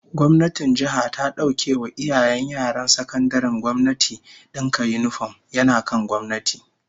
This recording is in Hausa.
Gwamnatin jiha ta dauke wa iyayen yaran sakandaren gwamnati dinka yinifom, yana kan gwamnati